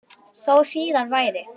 Þó síðar væri.